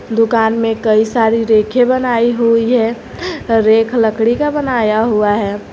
दुकान में कई सारी रेके बनाई हुई है रेक लकड़ी का बनाया हुआ है।